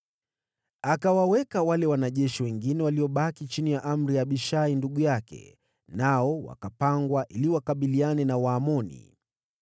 Akawaweka wale wanajeshi wengine waliobaki chini ya amri ya Abishai ndugu yake, nao wakapangwa ili wakabiliane na Waamoni.